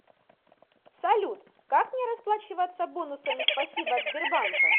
салют как мне расплачиваться бонусами спасибо от сбербанка